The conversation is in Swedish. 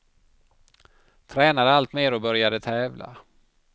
Tränade allt mer och började tävla.